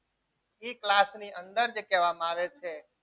જે કહેવામાં આવે છે એ class ની અંદર જે કહેવામાં આવે છે.